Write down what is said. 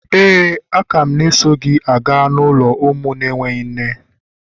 Éè, a ka m na-eso gị gaa n'ụlọ ụmụ na-enweghị nne.